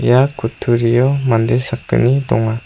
ia kutturio mande sakgni donga.